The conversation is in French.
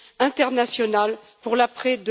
internationale, pour l'après